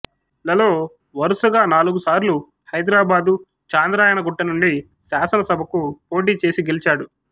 లలో వరుసగా నాలుగు సార్లు హైదరాబాదు చాంద్రాయణ గుట్ట నుండి శాసన సభకు పోటీ చేసి గెలిచాడు